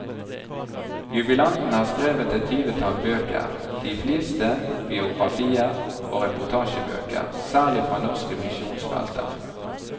Jubilanten har skrevet et tyvetall bøker, de fleste biografier og reportasjebøker, særlig fra norske misjonsfelter.